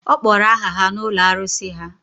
Ọ kpọrọ aha ya n’ụlọ arụsị ha